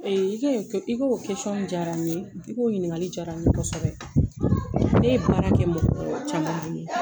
i ka o diyara n ye i ka o ɲininkali diyara n ye kosɛbɛ ne ye baara kɛ mɔgɔ caman bolo.